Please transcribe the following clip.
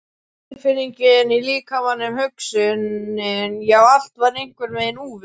Tilfinningin í líkamanum, hugsunin, já, allt var einhvern veginn úfið.